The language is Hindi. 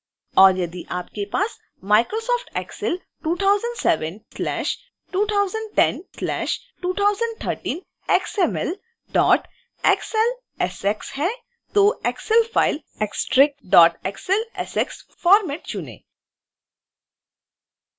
और यदि आपके पास microsoft excel 2007/2010/2013 xmlxlsx है तो excel file*xlsx फोर्मेट चुनें